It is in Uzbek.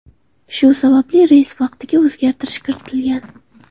Shu sababli reys vaqtiga o‘zgartirish kiritilgan.